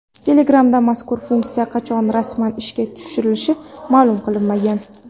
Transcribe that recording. Telegram’da mazkur funksiya qachon rasman ishga tushirilishi ma’lum qilinmagan.